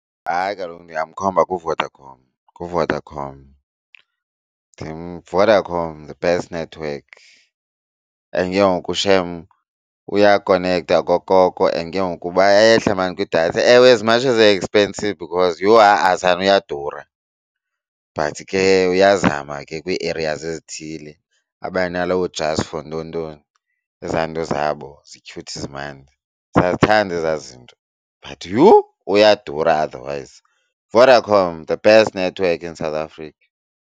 Hayi, kaloku ndingamkhomba kuVodacom, kuVodacom. Vodacom the best network. And ke ngoku shem uyakonekta okokoko and ke ngoku bayehla maan kwidatha. Ewe, as much as e-expensive because yho ha-a sana uyadura, but ke uyazama ke kwii-areas ezithile abe naloo just for ntontoni, ezaa nto zabo zi-cute, zimandi. Siyazithanda ezaa zinto, but yhu uyadura otherwise. Vodacom, the best network in South Africa.